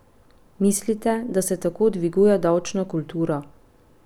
Mislite, da se tako dviguje davčna kultura?